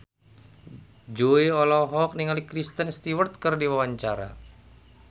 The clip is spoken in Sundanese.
Jui olohok ningali Kristen Stewart keur diwawancara